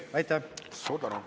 Aitäh!